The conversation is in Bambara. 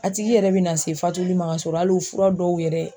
A tigi yɛrɛ bina se fatuli ma ka sɔrɔ hali o fura dɔw yɛrɛ.